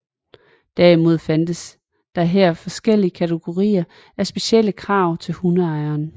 Derimod findes der her forskellige kategorier med specielle krav til hundejeren